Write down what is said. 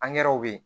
Angɛrɛw be yen